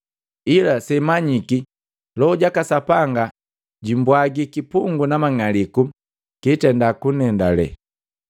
Ila semanyiki, Loho jaka Sapanga jumbwagi kipungu na mang'aliku kitenda kunendale.